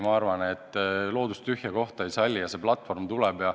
Ma arvan, et loodus tühja kohta ei salli ja see platvorm tuleb.